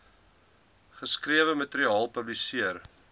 geskrewe materiaal publiseer